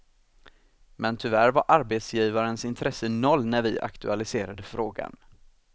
Men tyvärr var arbetsgivarens intresse noll när vi aktualiserade frågan.